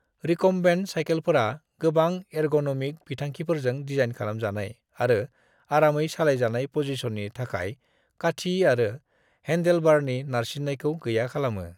Recumbent सायखेलफोरा गोबां ergonomic बिथांखिफोरजों दिजाइन खालामजानाय आरो आरामै सालायजानाय पजिसननि थाखाय काठी आरो हेंदेलबारनि नारसिन्नायखौ गैया खालामो।